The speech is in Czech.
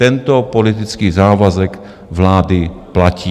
Tento politický závazek vlády platí.